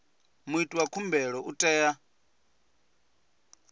muiti wa khumbelo u tea